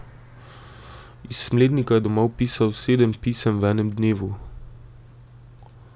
Iz Smlednika je domov pisal sedem pisem v enem dnevu.